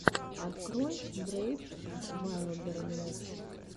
открой брейв вайлдернесс